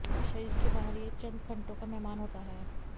शरीर के बहार यह चंद घंटों का मेहमान होता है